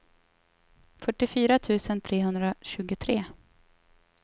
fyrtiofyra tusen trehundratjugotre